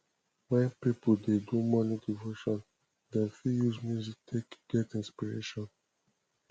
when pipo dey do morning devotion dem fit use music take get inspiration